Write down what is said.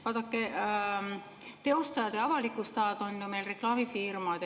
Vaadake, teostajad ja avalikustajad on meil ju reklaamifirmad.